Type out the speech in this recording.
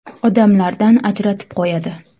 Odamlardan ajratib qo‘yadi.